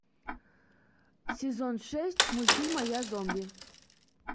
сезон шесть мультфильма я зомби